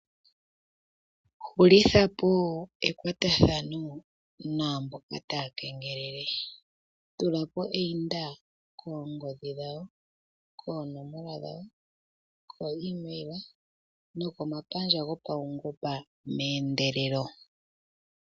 Hulitha po ekwatathano naamboka taa kengelele. Tula po eyinda koongodhi dhawo, koonomola dhawo, koimeyila nokomapandja gopaungomba meendelelo.